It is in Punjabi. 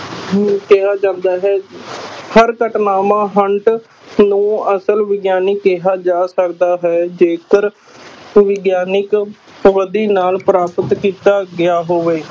ਨੂੰ ਕਿਹਾ ਜਾਂਦਾ ਹੈ ਹਰ ਘਟਨਾਵਾਂ ਨੂੰ ਅਸਲ ਵਿਗਿਆਨੀ ਕਿਹਾ ਜਾ ਸਕਦਾ ਹੈ ਜੇਕਰ ਵਿਗਿਆਨਕ ਨਾਲ ਪ੍ਰਾਪਤ ਕੀਤਾ ਗਿਆ ਹੋਵੇ।